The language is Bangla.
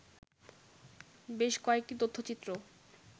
বেশ কয়েকটি তথ্যচিত্র